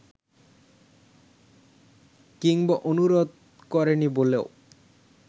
কিংবা অনুরোধ করেনি বলেও